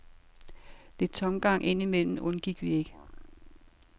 Lidt tomgang ind imellem undgik vi ikke.